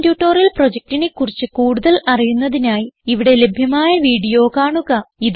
spoken tutorial പ്രൊജക്റ്റിനെ കുറിച്ച് കൂടുതൽ അറിയുന്നതിനായി ഇവിടെ ലഭ്യമായ വീഡിയോ കാണുക